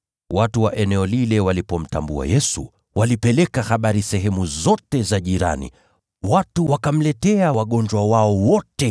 Watu wa eneo lile walipomtambua Yesu, walipeleka habari sehemu zote za jirani. Watu wakamletea wagonjwa wao wote,